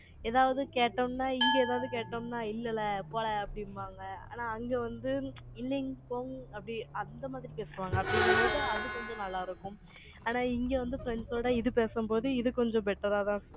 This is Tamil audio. எதாவது கேட்டோம்னா, இங்க எதாவது கேட்டோம்ன்னா, இல்லல்ல, போல அப்படிம்பாங்க. ஆனா, அங்க வந்து, இல்லைங் போங், அப்படி, அந்த மாதிரி பேசுவாங்க, அப்படிங்கும்போது, அது கொஞ்சம் நல்லா இருக்கும் ஆனா, இங்க வந்து, friends சோட, இது பேசும்போது, இது கொஞ்சம் better ஆதான்